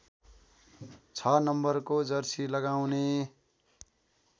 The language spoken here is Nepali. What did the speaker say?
६ नम्बरको जर्सी लगाउने